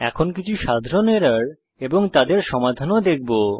এখন আমরা কিছু সাধারণ এরর এবং তাদের সমাধান ও দেখব